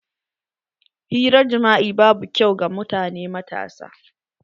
Hirar jima'i babu kyau ga mutane matasa.